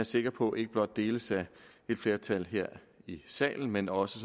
sikker på ikke blot deles af et flertal her i salen men også